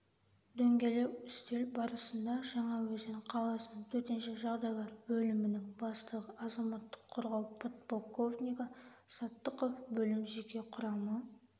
дөңгелек үстел барысында жаңаөзен қаласының төтенше жағдайлар бөлімінің бастығы азаматтық қорғау подполковнигі саттықов бөлім жеке құрамы